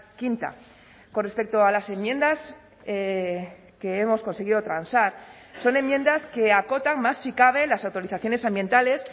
quinta con respecto a las enmiendas que hemos conseguido transar son enmiendas que acotan más si cabe las autorizaciones ambientales